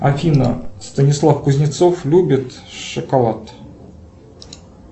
афина станислав кузнецов любит шоколад